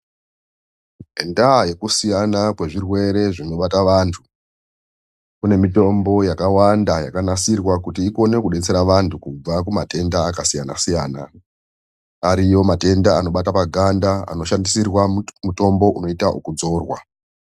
Ngendaa yekusiyana kwezvirwere zvinobata vantu, kune mitombo yakawanda yakanasirwa kuti ikone kudetsera vantu kubva kumatenda akasiyana-siyana. Ariyo matenda anobata paganda, anoshandisirwa mutombo unoita okudzorwa.